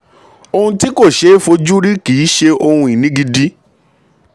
ohun tí kò ṣeé fojú rí kì í ṣe ohun ìní gidi.